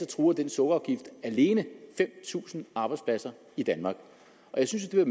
truer den sukkerafgift alene fem tusind arbejdspladser i danmark jeg synes det er